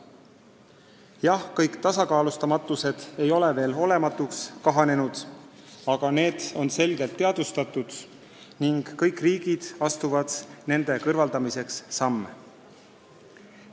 Jah, kõik tasakaalustamatused ei ole veel olematuks kahanenud, aga need on selgelt teadvustatud ning kõik riigid astuvad nende kõrvaldamiseks samme.